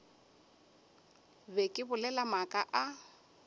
be ke bolela maaka a